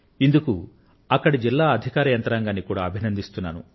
ఇందుకు అక్కడి జిల్లా అధికార యంత్రాంగాన్ని కూడా అభినందిస్తున్నాను